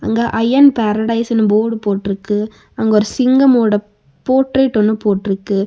அங்க ஐயர்ன் பேரடைஸ்ன்னு போர்ட் போட்றுக்கு அங்க ஒரு சிங்கமோட போர்ட்ரேட் ஒண்ணு போட்றுக்கு.